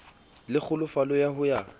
le kgolofalo ya ho ya